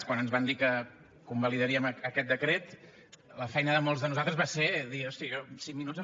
quan ens van dir que convalidaríem aquest decret la feina de molts de nosaltres va ser dir hosti jo cinc minuts